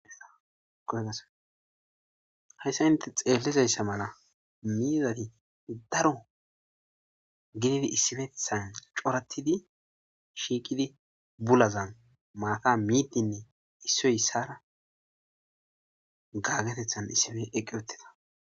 koygaso hayssa inte xeellizayssa mala miizati daro ginidi issifethan coratidi shiiqidi bulazan maata miiddinne issoy issara gaggatethan issife eqqe otteta